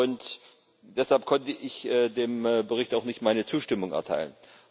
Und deshalb konnte ich dem Bericht auch nicht meine Zustimmung erteilen.